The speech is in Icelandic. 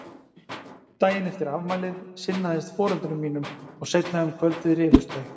Daginn eftir afmælið sinnaðist foreldrum mínum og seinna um kvöldið rifust þau.